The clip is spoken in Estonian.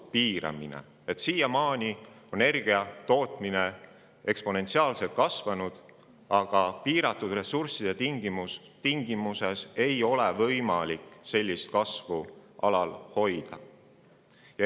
Siiamaani on primaarenergia tootmine eksponentsiaalselt kasvanud, aga piiratud ressursside tingimustes ei ole võimalik sellist kasvu alal hoida.